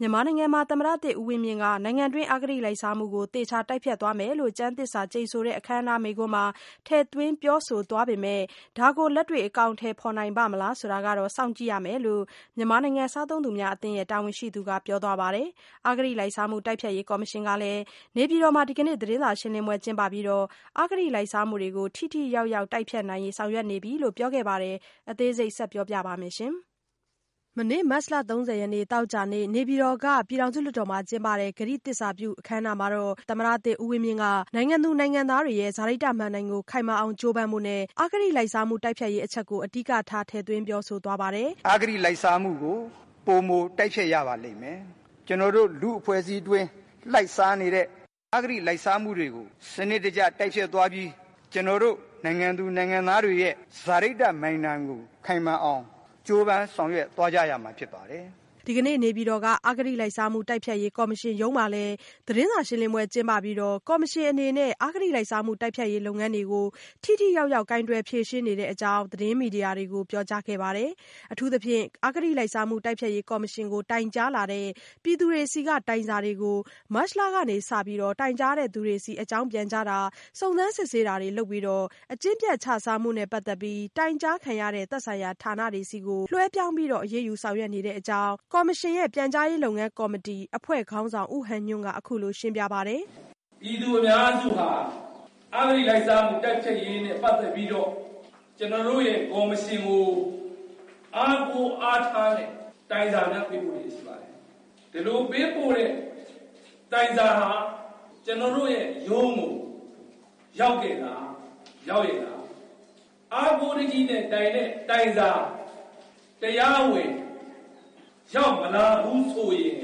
မြန်မာနိုင်ငံမှာ သမ္မတသစ် ဦးဝင်းမြင့်က နိုင်ငံတွင်း အဂတိလိုက်စားမှုကို သေချာတိုက်ဖျက်သွားမယ်လို့ ကျမ်းသစ္စာကျိန်ဆိုတဲ့ အခမ်းအနား မိန့်ခွန်းမှာ ထည့်သွင်းပြောဆို သွားပေမယ့် ဒါကိုလက်တွေ့ အကောင်အထည်ဖော်နိုင် ပါ့မလားဆိုတာတော့ စောင့်ကြည့်ရမယ်လို့ မြန်မာနိုင်ငံ စားသုံးသူများအသင်း တာဝန်ရှိသူက ပြောသွားပါတယ်။ အဂတိလိုက်စားမှု တိုက်ဖျက်ရေး ကော်မရှင်ကလည်း နေပြည်တော်မှာ ဒီကနေ့ သတင်းစာရှင်းလင်းပွဲ ကျင်းပပြီး အဂတိလိုက်စားမှုတွေကို ထိထိရောက်ရောက် တိုက်ဖျက်နိုင်ရေး ဆောင်ရွက်နေပြီလို့ ပြောဆိုခဲ့တာပါ။ အသေးစိတ်ကို မဆုမွန် ဆက်ပြီးတင်ပြပေးပါမယ်။ မနေ့မတ်လ ၃၀ရက်နေ့ သောကြာနေ့ နေပြည်တော်က ပြည်ထောင်စုလွှတ်တော်မှာ ကျင်းပတဲ့ ကတိသစ္စာပြုပွဲ အခမ်းအနားမှာတော့ သမ္မတသစ် ဦးဝင်းမြင့်က နိုင်ငံသူနိုင်ငံသားတွေရဲ့ စာရိတ္တမဏ္ဍိုင်ကို ခိုင်မာအောင် ကြိုးပမ်းဖို့နဲ့ အဂတိလိုက်စားမှု တိုက်ဖျက်ရေးအချက်ကို အဓိကထား ထည့်သွင်းပြောဆို ထားပါတယ်။ “ အဂတိလိုက်စားမှုကို ပိုမို တိုက်ဖျက်ရပါလိမ့်မယ်။ ကျွန်တော်တို့ လူ့အဖွဲ့အစည်းအတွင်း လှိုက်စားနေတဲ့ အဂတိလိုက်စားမှုတွေကို စနစ်တကျ တိုက်ဖျက်သွားပြီး ကျွန်တော်တို့နိုင်ငံသူနိုင်ငံသားတွေရဲ့ စာရိတ္တမဏ္ဍိုင်ကို ခိုင်မာအောင် ကြိုးပမ်းဆောင်ရွက်သွားကြရမှာ ဖြစ်ပါတယ်။” ဒီကနေ့နေပြည်တော်က အဂတိလိုက်စားမှုတိုက်ဖျက်ရေးကော်မရှင်ရုံးမှာလည်း သတင်းစာရှင်းလင်းပွဲ ကျင်းပပြီးတော့ ကော်မရှင်အနေနဲ့ အဂတိလိုက်စားမှု တိုက်ဖျက်ရေး လုပ်ငန်းတွေကို ထိထိရောက်ရောက် ကိုင်တွယ်ဖြေရှင်း နေတဲ့အကြောင်း သတင်းမီဒီယာတွေကို ပြောကြားခဲ့ပါတယ်။ အထူးသဖြင့် အဂတိလိုက်စားမှု တိုက်ဖျက်ရေးကော်မရှင်ကို တိုင်ကြားလာတဲ့ ပြည်သူတွေဆီက တိုင်စာတွေကို မတ်လကစပြီး တိုင်ကြားသူတွေဆီ အကြောင်းပြန်ကြားတာ စုံစမ်းစစ်ဆေးတာ လုပ်ပြီးတော့ အကျင့်ပျက်ခြစားမှုနဲ့ ပတ်သက်ပြီး တိုင်ကြားခံရတဲ့ သက်ဆိုင်ရာ ဌာနတွေဆီကို လွှဲပြောင်းပြီးတော့ အရေးယူဆောင်ရွက် နေတဲ့အကြောင်း အဂတိလိုက်စားမှု တိုက်ဖျက်ရေး ကော်မရှင်ရဲ့ ပြန်ကြားရေး လုပ်ငန်းကော်မတီ အဖွဲ့ခေါင်းဆောင် ဦးဟန်ညွန့်က အခုလိုရှင်းပြပါတယ်။ “ ပြည်သူအများစုဟာ အဂတိလိုက်စားမှု တိုက်ဖျက်ရေးနဲ့ပတ်သက်ပြီးတော့ ကျနော်တို့ရဲ့ ကော်မရှင်ကို အားကိုးအားထားတဲ့ တိုင်စာများ ပေးပို့လျက် ရှိပါတယ်။ ဒီလိုပေးပို့တဲ့ တိုင်စာဟာ ကျနော်တို့ရဲ့ရုံးကို ရောက်ရဲ့လား ရောက်လား။၊ အားကိုးတကြီးနဲ့တိုင်တဲ့ တိုင်စာ တရားဝင် ရောက်မလာဘူး ဆိုရင်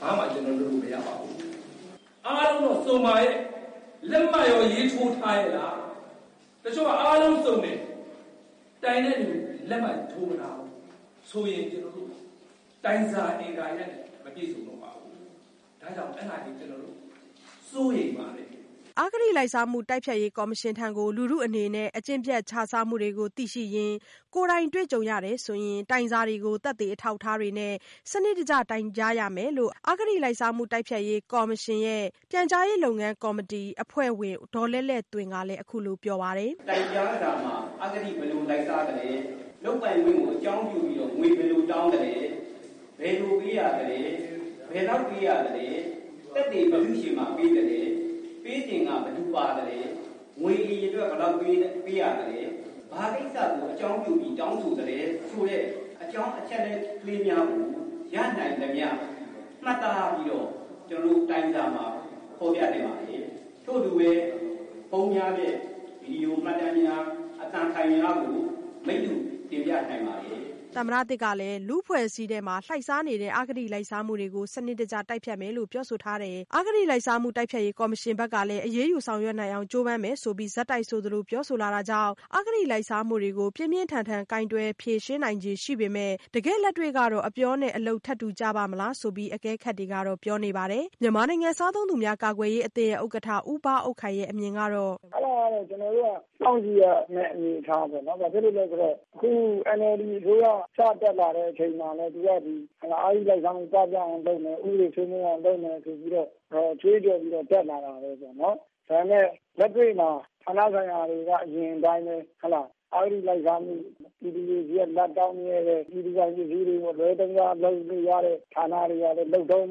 ဘာမှကျနော်တို့ လုပ်လို့မရပါဘူး။ အားလုံးတော့ စုံပါရဲ့.. လက်မှတ်ရော ရေးထိုးထားရဲ့လား၊ တချို့က အားလုံးတော့ စုံတယ်၊ ဒါပေမဲ့ တိုင်တဲ့သူရဲ့လက်မှတ် ထိုးမထားဘူးဆိုရင် တိုင်စာက အင်္ဂါရပ်နဲ့ မပြည့်စုံတော့ပါဘူး။ ဒါ့ကြောင့် အဲဒါတွေကို ကျနော်တို့ စိုးရိမ်ပါတယ်။” အဂတိ လိုက်စားမှုတိုက်ဖျက်ရေး ကော်မရှင်ထံကို လူထုကို အကျင့်ပျက် ခြစားမှုတွေကိုသိရှိရင် ကိုယ်တိုင် တွေ့ကြုံရရင် တိုင်စာတွေကို သက်သေ အထောက်အထားတွေနဲ့ စနစ်တကျ တိုင်ကြားရမယ်လို့အဂတိလိုက်စားမှု တိုက်ဖျက်ရေးကော်မရှင်ရဲ့ ပြန်ကြားရေးအဖွဲ့ဝင် ဦးခင်မောင်မြင့်ကလည်း ပြောပါတယ်။ “ တိုင်ကြားစာထဲမှာ အဂတိ ဘယ်လို လိုက်စားသလဲ၊ လုပ်ပိုင်ခွင့်ကို အကြောင်းပြုပြီးတော့ ငွေ ဘယ်လိုတောင်းသလဲ၊ ဘယ်လို ပေးရသလဲ ၊ ဘယ်လောက် ပေးရသလဲ၊ သက်သေ ဘယ်သူ့ဆီမှာ ပေးရသလဲ၊ ပေးစဉ်က ဘယ်သူ ပါသလဲ၊ ငွေအရေအတွက်က ဘယ်လောက်ပေးရသလဲ၊ ဘာကိစ္စကို အကြောင်းပြုပြီး တောင်းဆိုသလဲ…ဆိုတဲ့ အကြောင်းအချက်အလက်တွေကို ရနိုင်သမျှ မှတ်သားပြီးတော့ တိုင်စာထဲမှာ ဖေါ်ပြ နိုင်ပါတယ်။ ထို့အတူပဲ ဖုန်းများနဲ့ ဗွီဒီယိုမှတ်တမ်းများ အသံဖိုင်များကို မိတ္တူတင်ပြနိုင်ပါတယ်။” သမ္မတသစ်ကလည်း လူ့အဖွဲ့အစည်းအတွင်း လှိုက်စားနေတဲ့ အဂတိလိုက်စားမှုကို စနစ်တကျ တိုက်ဖျက်မယ်လို့ ပြောဆိုထားတယ်။ ကော်မရှင်ဘက်ကလည်း အရေးယူဆောင်ရွက်နိုင်အောင် ကြိုးပမ်းမယ်ဆိုပြီး ဆက်တိုက်ဆိုသလို ပြောဆိုလာတာကြောင့် အဂတိ လိုက်စားမှုကို ပြင်းပြင်းထန်ထန် ကိုင်တွယ်နိုင်ခြေရှိပေမဲ့ တကယ့်လက်တွေ့ကတော့ အပြောနဲ့ ထပ်တူကျပါ့မလား ဆိုပြီးတော့ အကဲခတ်တွေ ဘက်က ပြောနေပါတယ်။ မြန်မာနိုင်ငံစားသုံးသူများ ကာကွယ်ရေးအသင်း ဥက္ကဋ္ဌ ဦးဘအုပ်ခိုင်ရဲ့အမြင်ကတော့- “ အဲဒါကတော့ ကျနော်တို့က စောင့်ကြည့်ရမယ့် အနေအထားပေါ့နော်။ ဘာဖြစ်လို့လည်းဆိုတော့ ခု NLDအစိုးရ စတက်လာတဲ့ အချိန်မှာ သူက ဒီ အဂတိလိုက်စားမှု ပပျောက်အောင်လုပ်မယ်၊ ဥပဒေစိုးမိုးအောင် လုပ်မယ် ဆိုပြီးတော့ ကြွေးကြော်ပြီး တက်လာတာလေ။ ဒါပေမယ့် လက်တွေ့မှာ ဌာနဆိုင်ရာတွေက အရင်အတိုင်းပဲ… အဂတိလိုက်စားမှု- ပြည်သူတွေဆီက လဘ်တောင်းမြဲပဲ၊ ပြည်သူပိုင် ပစ္စည်းတွေ အလွဲသုံးစား လုပ်လို့ရတဲ့ ဌာနတွေကလည်း လုပ်တုန်း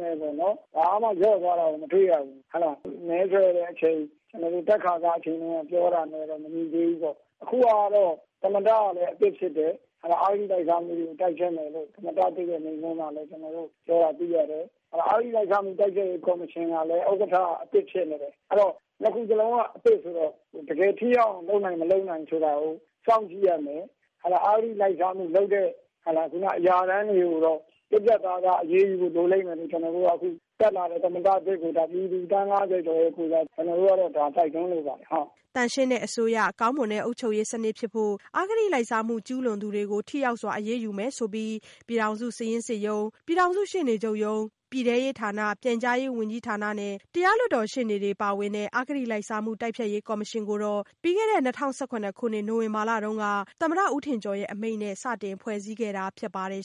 ပဲ၊ ဘာမှ လျော့သွားတာကို မတွေ့ရဘူး။ မဲဆွယ်တဲ့အချိန် တက်ခါစအချိန်တုန်းက ပြောခဲ့တာနဲ့လည်း မညီသေးဘူးပေါ့။ အခုဟာကတော့ သမ္မတကလည်း အသစ်ဖြစ်တယ်။ အဂတိလိုက်စားမှုကို တိုက်ဖျက်မယ်လို့ သမ္မတသစ်ရဲ့ မိန့်ခွန်းထဲမှာလဲ ပြောတာတွေ့ရတယ်။ အဂတိလိုက်စားမှု တိုက်ဖျက်ရေး ကော်မရှင်ကလည်း ဥက္ကဋ္ဌက အသစ်ဖြစ်နေတယ်။ အဲဒီတော့ နှစ်ခုစလုံးက အသစ်ဆိုတော့ တကယ်ထိရောက်အောင် လုပ်နိုင်/မလုပ်နိုင် ဆိုတာကို စောင့်ကြည့်ရမယ်။ အဂတိလိုက်စားမှုလုပ်တဲ့ အရာထမ်းတွေကိုတော့ ပြတ်ပြတ်သားသား အရေးယူဖို့ လိုလိမ့်မယ်လို့ အခုတက်လာတဲ့ သမ္မတသစ်ကို ပြည်သူ သန်း ၅၀ကျော်ရဲ့ကိုယ်စား ကျနော်တို့က တိုက်တွန်းလိုပါတယ်။” သန့်ရှင်းတဲ့အစိုးရ၊ ကောင်းမွန်တဲ့ အုပ်ချုပ်ရေးစနစ်ဖြစ်ဖို့ အဂတိလိုက်စားမှု ကျူးလွန်သူတွေကို ထိရောက်စွာ အရေးယူနိုင်ဖို့ဆိုပြီး ပြည်ထောင်စု စာရင်းစစ်ရုံး၊ ပြည်ထောင်စု ရှေ့နေချုပ်ရုံး၊ ပြည်ထဲရေး ဝန်ကြီးဌာန၊ ပြန်ကြားရေးဝန်ကြီးနဲ့ ရှေ့နေတွေ ပါဝင်တဲ့ အဂတိလိုက်စားမှု တိုက်ဖျက်ရေးကော်မရှင်ကို ၂၀၁၇ခုနှစ် နိုဝင်ဘာလက သမ္မတဦးထင်ကျော် အမိန့်နဲ့ စတင်ဖွဲ့စည်းခဲ့တာ ဖြစ်ပါတယ်